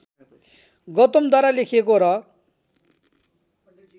गौतमद्वारा लेखिएको र